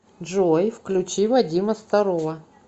джой включи вадима старова